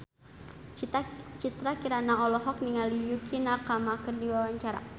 Citra Kirana olohok ningali Yukie Nakama keur diwawancara